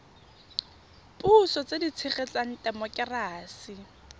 puso tse di tshegetsang temokerasi